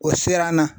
O sera an na